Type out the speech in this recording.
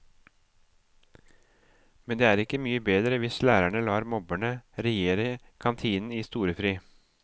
Men det er ikke mye bedre hvis lærerne lar mobberne regjere kantinen i storefri.